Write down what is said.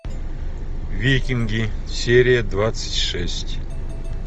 викинги серия двадцать шесть